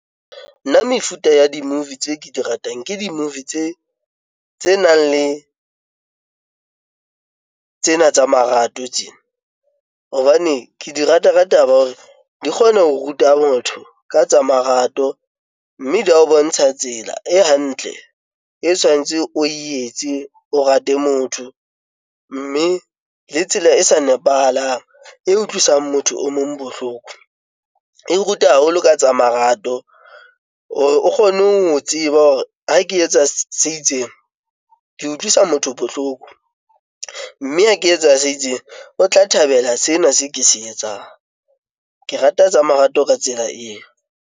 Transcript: Nna mefuta ya di-movie tse ke di ratang, ke di-movie tse nang le tsena tsa marato tsena hobane ke di rata ka taba ya hore di kgona ho ruta motho ka tsa marato mme di a bontsha tsela e hantle e tshwanetse o etse, o rate motho mme le tsela e sa nepahalang e utlwisang motho o mong bohloko, e ruta haholo ka tsa marato. O kgone ho tseba hore ha ke etsa se itseng, ke utlwisa motho bohloko mme ha ke etsa se itseng, o tla thabela sena se ke se etsang. Ke rata tsa marato ka tsela eo.